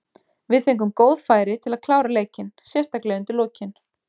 Við fengum góð færi til að klára leikinn, sérstaklega undir lokin.